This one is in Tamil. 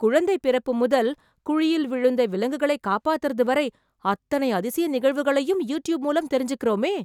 குழந்தை பிறப்பு முதல், குழியில் விழுந்த விலங்குகள காப்பத்தறது வரை அத்தனை அதிசய நிகழ்வுகளையும் யூட்யூப் மூலம் தெரிஞ்சிக்கறோமே...